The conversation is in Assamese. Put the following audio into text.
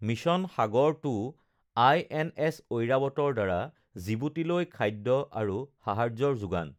মিছন সাগৰ ২ আইএনএছ ঐৰাৱতৰ দ্বাৰা জিবোটিলৈ খাদ্য আৰু সাহায্যৰ যোগান